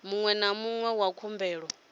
muṅwe na muṅwe wa khumbelo